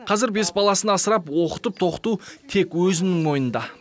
қазір бес баласын асырап оқытып тоқыту тек өзінің мойнында